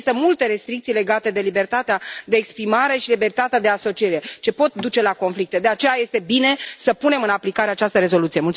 Există multe restricții legate de libertatea de exprimare și libertatea de asociere ce pot duce la conflicte, de aceea este bine să punem în aplicare această rezoluție.